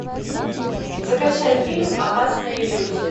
закачай фильм опасная иллюзия